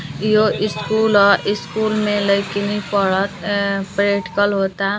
इहो ईस्कूल ह। ईस्कूल में लइकिनी पढ़त एं प्रैक्टिकल हो ता।